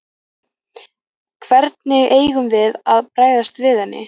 Hvernig eigum við að bregðast við henni?